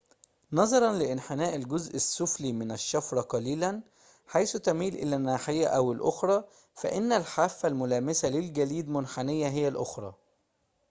نظراً لانحناء الجزء السفلي من الشفرة قليلاً حيث تميل إلى ناحية أو الأخرى فإن الحافة الملامسة للجليد منحنية هي الأخرى